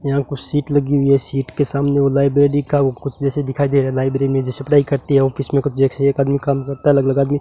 यहां कुछ सीट लगी हुई है सीट के सामने वो लाइब्रेरी का वो कुछ जैसे दिखाई दे रहा लाइब्रेरी में जैसे पढ़ाई करते हैं ऑफिस में कुछ जैसे एक आदमी काम करता है अलग अलग आदमी --